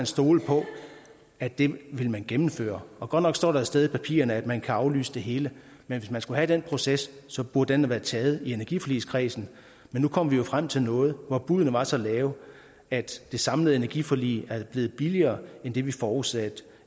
stole på at det vil man gennemføre og godt nok står der et sted i papirerne at man kan aflyse det hele men hvis man skulle have den proces så burde den være taget i energiforligskredsen men nu kom vi jo frem til noget hvor buddene var så lave at det samlede energiforlig er blevet billigere end det vi forudsatte